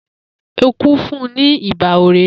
Eku fun un ni iba orere.